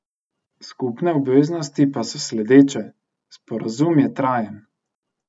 Skupne obveznosti pa so sledeče: "Sporazum je trajen.